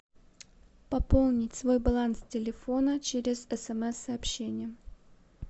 пополнить свой баланс телефона через смс сообщение